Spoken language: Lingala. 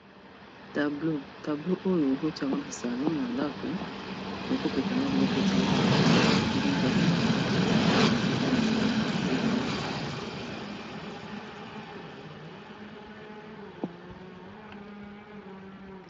Tableau, tableau oyo okoki ko tia yango na salon na ndako okoki ko prepare yango pe otie yango na chambe ndenge kaka olingi.